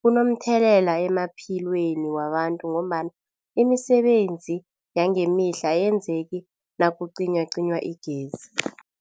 kunomthelela emaphilweni wabantu ngombana imisebenzi yangemihla ayenzeki nakucinywacinywa igezi.